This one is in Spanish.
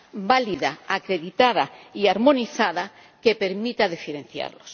válida, acreditada y armonizada que permita diferenciarlos.